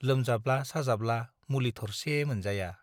लोमजाब्ला साजाब्ला मुलि थरसे मोनजाया ।